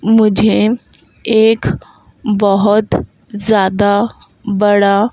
मुझे एक बहुत ज्यादा बड़ा--